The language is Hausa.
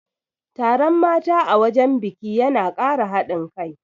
Taron mata a wajen biki yana Kara haɗin kai